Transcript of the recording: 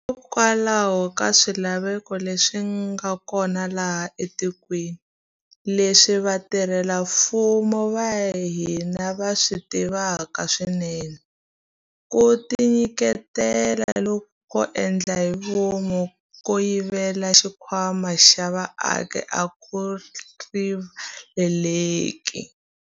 Hikokwalaho ka swilaveko leswi nga kona laha etikweni, leswi vatirhela mfumo va hina va swi tivaka swinene, ku tinyiketela loku ko endla hi vomu ko yivela xikhwama xa vaaki a ku rivaleleki.